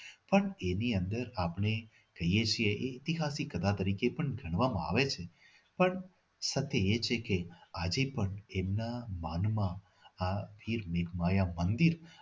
પણ એની અંદર આપણે કહીએ છીએ કે ઈતિહાસિક કલા તરીકે પણ ગણવામાં આવે છે પણ સાથે એ છે કે આજે પણ ના માનમાં આ તીર્થમાં એક મંદિર